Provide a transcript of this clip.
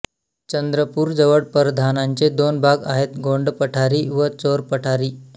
चंद्रपूरजवळ परधानांचे दोन भाग आहेत गोंडपठारी व चोरपठारी